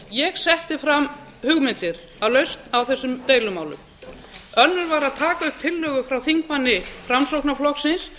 ég setti fram hugmyndir að lausn á þessum deilumálum önnur var að taka upp tillögu frá þingmanna framsóknarflokksins